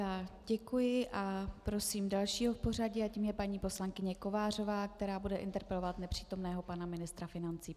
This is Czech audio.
Já děkuji a prosím dalšího v pořadí a tím je paní poslankyně Kovářová, která bude interpelovat nepřítomného pana ministra financí.